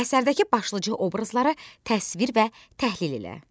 Əsərdəki başlıca obrazları təsvir və təhlil elə.